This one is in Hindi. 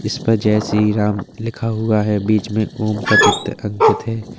इस पर जय श्रीराम लिखा हुआ है बीच में ओम का चित्र अंकित है।